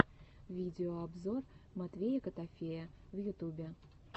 видеообзор матвея котофея в ютубе